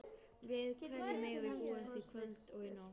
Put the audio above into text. Við hverju megum við búast í kvöld og í nótt?